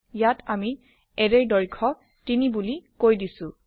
ইয়াত আমি এৰে ৰ দৈৰ্ঘ্য ৩ বুলি কৈ দিছো